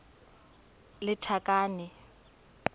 lethakane